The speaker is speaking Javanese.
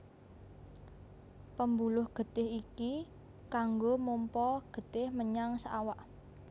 Pembuluh getih iki kanggo mompa getih menyang saawak